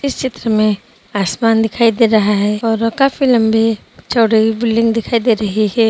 इस चित्र में आसमान दिखाई दे रहा है और काफी लंबी चौड़ी बिल्डिंग दिखाई दे रही है।